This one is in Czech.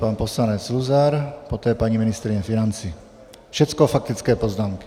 Pan poslanec Luzar, poté paní ministryně financí, všecko faktické poznámky.